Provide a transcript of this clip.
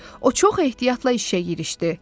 O çox ehtiyatla işə girişdi.